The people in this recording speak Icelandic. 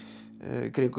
kringum